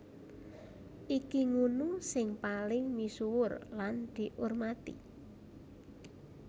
Iki ngunu sing paling misuwur lan diurmati